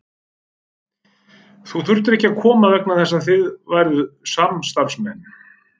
Þú þurftir ekki að koma vegna þess að þið væruð samstarfsmenn.